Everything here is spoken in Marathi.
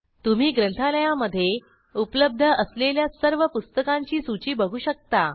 तुम्ही ग्रंथालयामधे उपलब्ध असलेल्या सर्व पुस्तकांची सूची बघू शकता